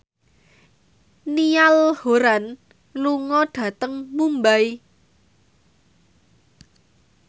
Niall Horran lunga dhateng Mumbai